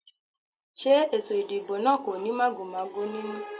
Ṣé ètò ìdìbò náà kò ní màgòmágó nínú?